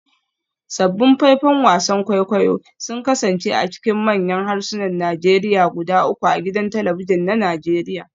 Sabbin faifan wasan kwaikwayo sun kasance a cikin manyan harsunan Najeriya guda uku a gidan talabijin na Najeriya